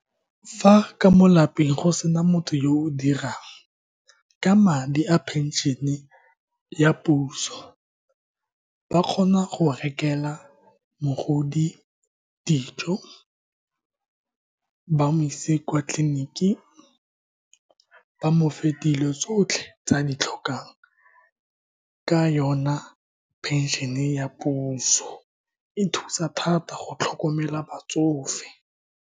Fa ka mo lapeng go sena motho, yo o dirang ka madi a phenšene ya puso, ba kgona go rekela mogodi dijo, ba mo ise kwa tleliniking, ba mofe dilo tsotlhe tse a di tlhokang. Ka yona, pension-e e ya puso e thusa thata go tlhokomela batsofe.